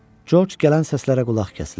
Corc gələn səslərə qulaq kəsildi.